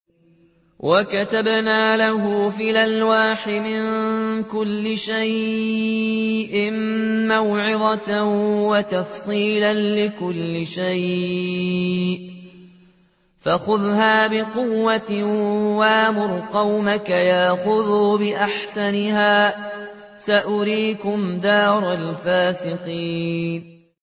وَكَتَبْنَا لَهُ فِي الْأَلْوَاحِ مِن كُلِّ شَيْءٍ مَّوْعِظَةً وَتَفْصِيلًا لِّكُلِّ شَيْءٍ فَخُذْهَا بِقُوَّةٍ وَأْمُرْ قَوْمَكَ يَأْخُذُوا بِأَحْسَنِهَا ۚ سَأُرِيكُمْ دَارَ الْفَاسِقِينَ